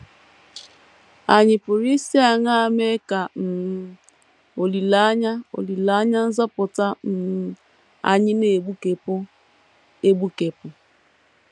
Ànyị pụrụ isi aṅaa mee ka um “ olileanya olileanya nzọpụta ” um anyị na - egbukepụ egbukepụ?